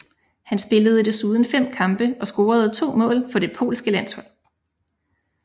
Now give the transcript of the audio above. Han spillede desuden fem kampe og scorede to mål for det polske landshold